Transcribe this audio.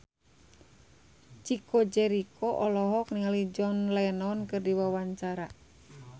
Chico Jericho olohok ningali John Lennon keur diwawancara